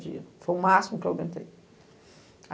dias. Foi o máximo que eu aguentei.